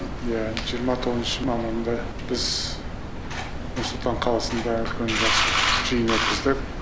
иә жиырма тоғызыншы мамырында біз нұр сұлтан қаласында үлкен жақсы жиын өткіздік